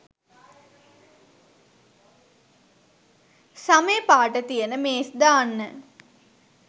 සමේ පාට තියන මේස් දාන්න.